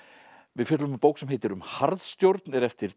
við fjöllum um bók sem heitir um harðstjórn eftir